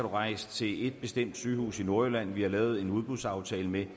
rejse til et bestemt sygehus i nordjylland som vi har lavet en udbudsaftale med